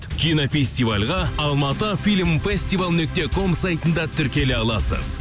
кинофестивальға алматы фильм фестивал нүкте ком сайтында тіркеле аласыз